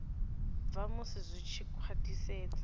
bva musi zwi tshi khwathisedzwa